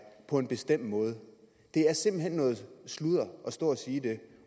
på en bestemt måde det er simpelt hen noget sludder at stå og sige det